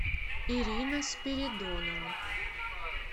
ирина спиридонова